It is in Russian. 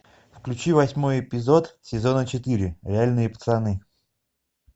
включи восьмой эпизод сезона четыре реальные пацаны